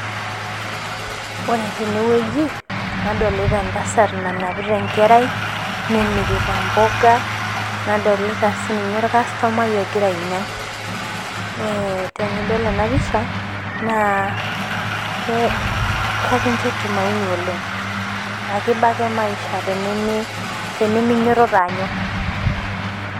Ore tene wueji nadolita entasat namirrita impoka, nenapita enkera, naddolita sii ninye olkastomai ogira ainyang'. Tenidol ena pisha, naa kekinjo tumaini oleng'. Ekeiba ake maisha teniminyototo anyok.